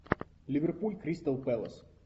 ливерпуль кристал пэлас